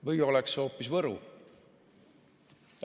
Või oleks see hoopis Võru?